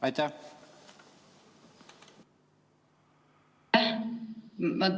Aitäh!